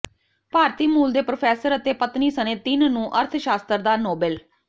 ਭਾਰਤੀ ਮੂਲ ਦੇ ਪ੍ਰੋਫੈਸਰ ਅਤੇ ਪਤਨੀ ਸਣੇ ਤਿੰਨ ਨੂੰ ਅਰਥਸ਼ਾਸਤਰ ਦਾ ਨੋਬੇਲ